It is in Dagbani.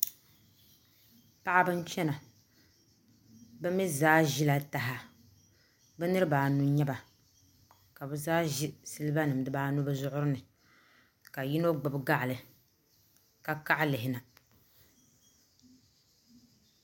Paɣiba n chɛna bimi zaa zila taha bi niriba anu n yɛ ba ka bi zaa zi siliba nim di baa anu bi zuɣuri ni ka yino gbibi baɣili ka kaɣi lihi na .